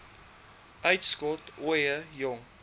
uitskot ooie jong